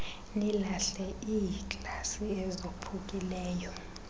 nilahle iiglasi ezophukileyo